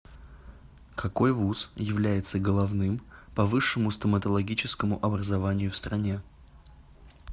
какой вуз является головным по высшему стоматологическому образованию в стране